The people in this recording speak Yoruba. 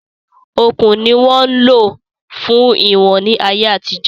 Okùn ni wọ́n ń lò fún iwọ̀n ní ayé àtijọ́